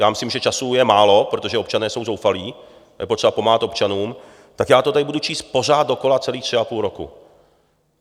Já myslím, že času je málo, protože občané jsou zoufalí, je potřeba pomáhat občanům, tak já to tady budu číst pořád dokola celých tři a půl roku.